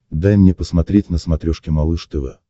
дай мне посмотреть на смотрешке малыш тв